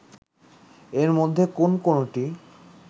এর মধ্যে কোন কোনটি